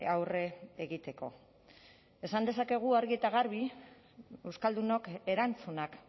aurre egiteko esan dezakegu argi eta garbi euskaldunok erantzunak